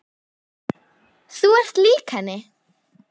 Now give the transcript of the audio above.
Þú ert lík henni.